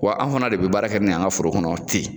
Wa an fana de be baara kɛ ni y'an ŋa foro kɔnɔ ten.